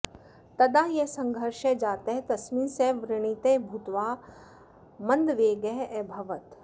तदा यः सङ्घर्षः जातः तस्मिन् सः व्रणितः भूत्वा मन्दवेगः अभवत्